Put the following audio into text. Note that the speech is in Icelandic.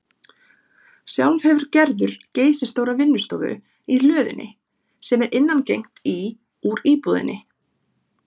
Sjálf hefur Gerður geysistóra vinnustofu í hlöðunni, sem er innangengt í úr íbúðinni.